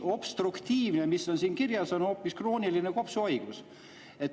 Obstruktiivne, mis on siin kirjas, on hoopis krooniline kopsuhaigus.